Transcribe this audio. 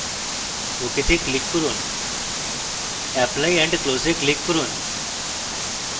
ok তে click করুন apply and close এ click করুন